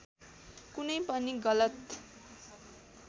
कुनै पनि गलत